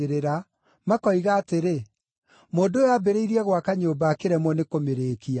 makoiga atĩrĩ, ‘Mũndũ ũyũ aambĩrĩirie gwaka nyũmba akĩremwo nĩ kũmĩrĩkia.’